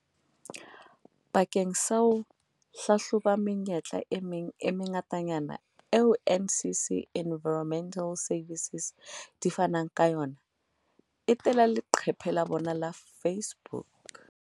Bakeng sa ho hlahloba menyetla e meng e mengatanyana eo NCC Environmental Services di fanang ka yona, etela leqephe la bona la Face-book.